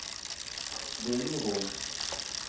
Vingrom